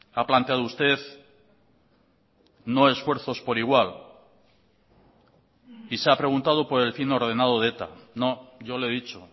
ha planteado usted no esfuerzos por igual y se ha preguntado por el fin ordenado de eta no yo le he dicho